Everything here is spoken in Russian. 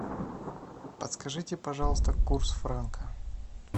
подскажите пожалуйста курс франка